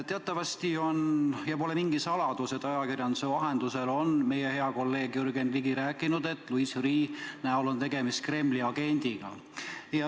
Teatavasti on, see pole mingi saladus, ajakirjanduse vahendusel meie hea kolleeg Jürgen Ligi rääkinud, et Louis Freeh on Kremli agent.